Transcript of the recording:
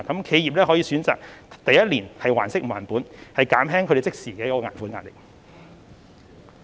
企業可以選擇第一年還息不還本，減輕他們的即時還款壓力......